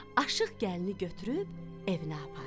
Aşiq gəlini götürüb evinə apardı.